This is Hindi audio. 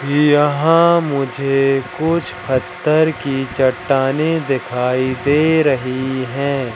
यहां मुझे कुछ पत्थर की चट्टानें दिखाई दे रही है।